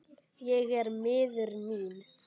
Ég er miður mín.